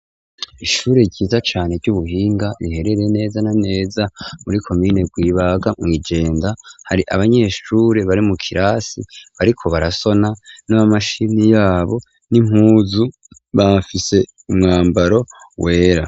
Ishuri ryiza cane ry'ubuhinga biherere neza na neza muri komine rwibaga mw'ijenda, hari abanyeshure bari mu kirasi bariko barasona n'abamashini yabo n'impuzu bafise umwambaro wera.